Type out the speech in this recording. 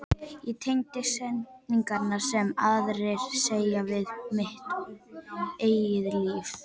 Ég tengi setningar sem aðrir segja við mitt eigið líf.